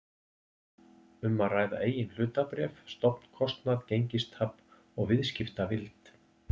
um að ræða eigin hlutabréf, stofnkostnað, gengistap og viðskiptavild.